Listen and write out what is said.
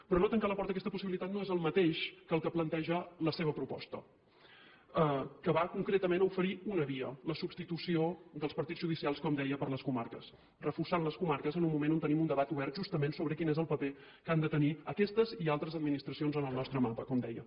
però no tancar la porta a aquesta possibilitat no és el mateix que el que planteja la seva proposta que va concretament a oferir una via la substitució dels partits judicials com deia per les comarques i reforçar les comarques en un moment on tenim un debat obert justament sobre quin és el paper que han de tenir aquestes i altres administracions en el nostre mapa com deia